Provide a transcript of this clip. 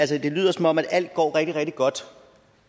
det lyder som om alt går rigtig rigtig godt